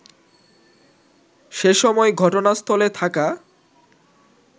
সেসময় ঘটনাস্থলে থাকা